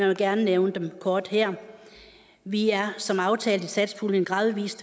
vil gerne nævne dem kort her vi er som aftalt i satspuljen gradvis